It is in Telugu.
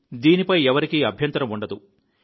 దీనీపై ఎవరికీ అభ్యంతరం ఉండదు